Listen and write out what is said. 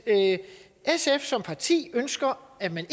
sf som parti ønsker at man